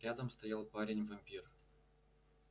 рядом стоял парень-вампир